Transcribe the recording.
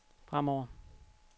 fremover